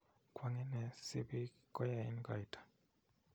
Kwang en ne si pik koyaen koito?